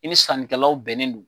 I ni sannikɛlaw bɛnnen do.